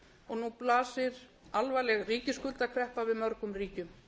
og nú blasir alvarleg ríkisskuldakreppa við mörgum ríkjum